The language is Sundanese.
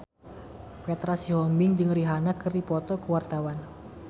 Petra Sihombing jeung Rihanna keur dipoto ku wartawan